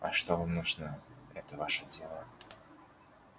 а что вам нужно это ваше дело